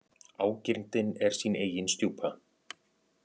Ágirndin er sín eigin stjúpa.